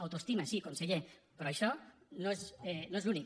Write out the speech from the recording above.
autoestima sí conseller però això no és l’únic